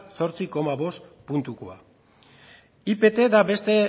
zortzi koma bost puntukoa ipt da beste